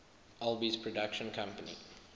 alby's production company